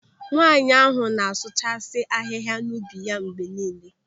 Nwaanyị ahụ na-asụchasi ahịhịa n'ubi ya mgbe niile.